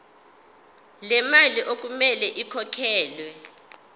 lemali okumele ikhokhelwe